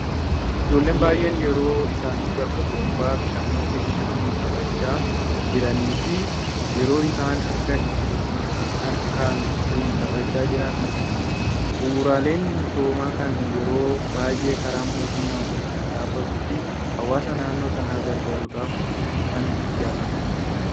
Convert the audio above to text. Ijoolleen baay'een yeroo isaan bakka boonbaa bishaaniti, bishaaniin taphaacha jiraanii fi yeroo isaan harkaan ittin taphaacha jiran argina. bu'uuralee misooma kana yeroo baay'ee karaa mootummatiin kan dhabbatuu fi hawaasa naannoo sanaa gargaaruudhaf kan ijaaramudha.